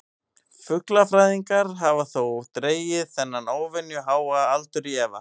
Fuglafræðingar hafa þó dregið þennan óvenju háa aldur í efa.